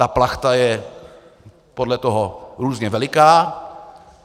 Ta plachta je podle toho různě veliká.